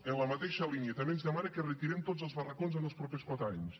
en la mateixa línia també ens demana que retirem tots els barracons en els propers quatre anys